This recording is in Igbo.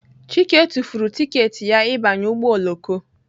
Chike tụfuru tiketi ya ịbanye ụgbọ oloko